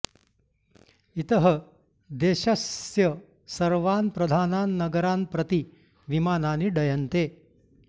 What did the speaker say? इतः देशस्य सर्वान् प्रधानान् नगरान् प्रति विमानानि डयन्ते